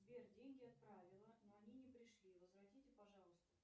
сбер деньги отправила но они не пришли возвратите пожалуйста